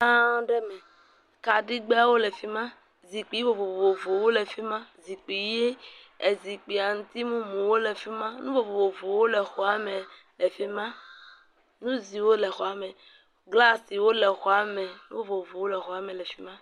Xɔ gã aɖe me kaɖigbewo le fi ma, zikpui vovovowo le fi ma, zikpui ʋi ezikpui aŋutimumu wo le fi ma nu vovovo wo le efi ma, nu ziwo le xɔa me, glasiwo le xɔame nu vovovowo le xɔa me le fi ma.